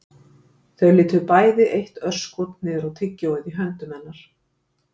Þau litu bæði eitt örskot niður á tyggjóið í höndum hennar